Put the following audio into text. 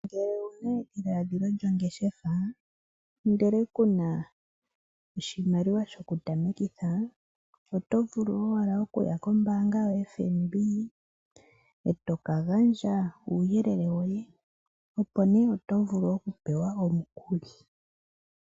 Ngele owuna edhiladhilo lyongeshefa ndele ku na oshimaliwa shokutamekitha oto vulu owala okuya kombaanga yoFNB eto kagandja uuyelele woye opo nee oto vulu okupewa omukuli.